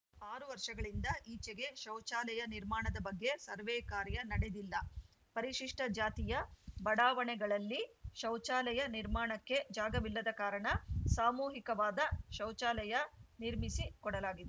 ಆರು ವರ್ಷಗಳಿಂದ ಈಚೆಗೆ ಶೌಚಾಲಯ ನಿರ್ಮಾಣದ ಬಗ್ಗೆ ಸರ್ವೆ ಕಾರ್ಯ ನಡೆದಿಲ್ಲ ಪರಿಶಿಷ್ಟಜಾತಿಯ ಬಡಾವಣೆಗಳಲ್ಲಿ ಶೌಚಾಲಯ ನಿರ್ಮಾಣಕ್ಕೆ ಜಾಗವಿಲ್ಲದ ಕಾರಣ ಸಾಮೂಹಿಕವಾದ ಶೌಚಾಲಯ ನಿರ್ಮಿಸಿ ಕೊಡಲಾಗಿದೆ